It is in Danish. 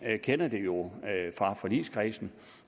kender det jo fra forligskredsen